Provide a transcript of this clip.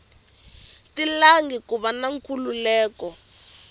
talangi ku va na nkhulukelano